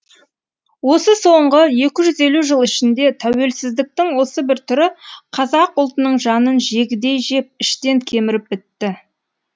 осы соңғы екі жүз елу жыл ішінде тәуелсіздіктің осы бір түрі қазақ ұлтының жанын жегідей жеп іштен кеміріп бітті